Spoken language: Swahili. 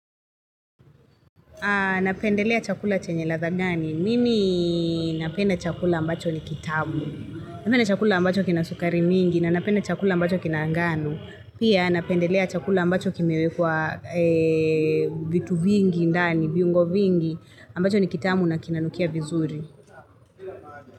Napendelea chakula chenye ladha gani, mimi napenda chakula ambacho ni kitamu, napenda chakula ambacho kina sukari mingi na napende chakula ambacho kina angano. Pia napendelea chakula ambacho kimewekwa vitu vingi ndani, viungo vingi, ambacho ni kitamu na kinanukia vizuri.